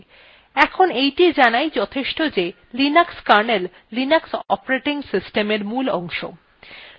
এখন এইটি জানাই যথেষ্ট যে linux kernel linux operating system at মূল অংশ